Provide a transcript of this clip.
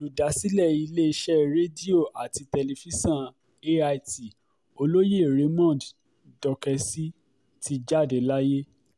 olùdásílẹ̀ iléeṣẹ́ rédíò àti tẹlifíṣàn ait olóyè raymond dókèsì ti jáde láyé